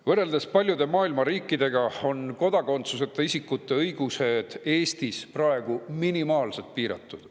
Võrreldes paljude maailma riikidega on kodakondsuseta isikute õigused Eestis minimaalselt piiratud.